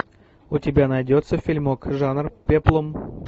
у тебя найдется фильмок жанр пеплум